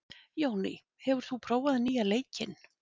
Jóný, hefur þú prófað nýja leikinn?